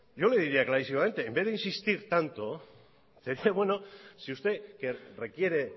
yo le diría clarísimamente en vez de insistir tanto usted requiere